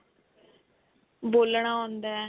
ਬੋਲਨਾ ਆਉਂਦਾ